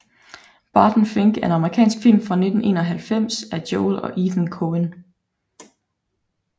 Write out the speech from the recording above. Barton Fink er en amerikansk film fra 1991 af Joel og Ethan Coen